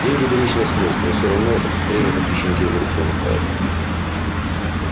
деньги беречь нет смысла и всё равно время по песчинке из рук вымывает